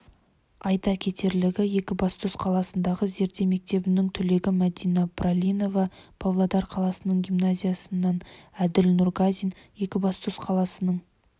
айта кетерлігі екібастұз қаласындағы зерде мектебінің түлегі мәдина бралинова павлодар қаласының гимназиясынан әділ нұргазин екібастұз қаласының